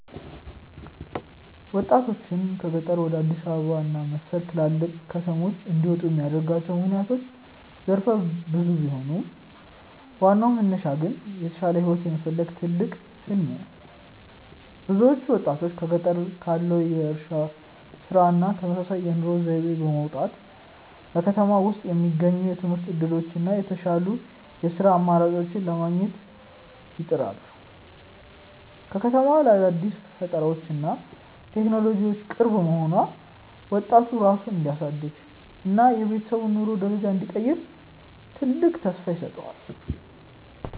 ወጣቶችን ከገጠር ወደ አዲስ አበባ እና መሰል ትላልቅ ከተሞች እንዲመጡ የሚያደርጓቸው ምክንያቶች ዘርፈ ብዙ ቢሆኑም፣ ዋናው መነሻ ግን የተሻለ ህይወትን የመፈለግ ትልቅ "ህሊም" ነው። ብዙዎቹ ወጣቶች በገጠር ካለው የእርሻ ስራ እና ተመሳሳይ የኑሮ ዘይቤ በመውጣት፣ በከተማ ውስጥ የሚገኙትን የትምህርት እድሎች እና የተሻሉ የስራ አማራጮችን ለማግኘት ይጥራሉ። ከተማዋ ለአዳዲስ ፈጠራዎች እና ለቴክኖሎጂ ቅርብ መሆኗ፣ ወጣቱ ራሱን እንዲያሳድግ እና የቤተሰቡን የኑሮ ደረጃ እንዲቀይር ትልቅ ተስፋ ይሰጠዋል።